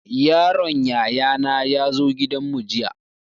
Yaron yaya na ya zo gidan mu jiya